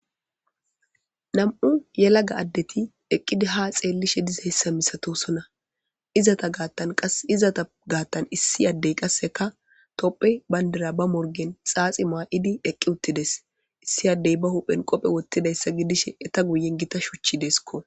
Nam7u yelaga addeti eqqidi ha xeellishe diza hessa misatosona izata gaattan qas izata gaattan issi addey qasseka topphe bayndira ba morgen xaaxi maa7idi eqqi uttides issi addey ba huphen qophe wottidayssa gidishe eta guyen gita shuchchideskko